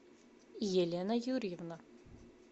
елена юрьевна